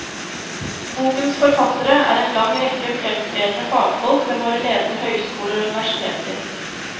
Bokens forfattere er en lang rekke fremtredende fagfolk ved våre ledende høyskoler og universiteter.